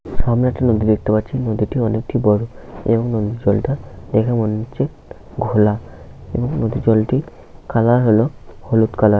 সামনে একটা নদী দেখতে পাচ্ছি। নদীটি অনেক বড় এবং নদীর জলটা দেখে মনে হচ্ছে ঘোলা এবং নদীর জলটি কালার হলো হলুদ কালার ।